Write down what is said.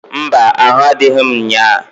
Mba! Ahụ adịghị m nnyaa.